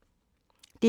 DR1